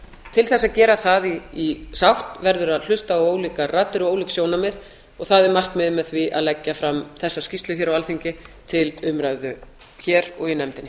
til að gera það í sátt verður að hlusta á ólíkar raddir og ólík sjónarmið og það er markmiðið með því að leggja fram þessa skýrslu hér á alþingi til umræðu hér og í nefndinni